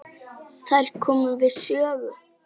Þær komu við sögu.